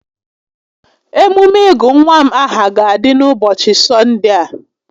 Emume ịgụ nwa m aha ga-adị n'ụbọchị S6onde a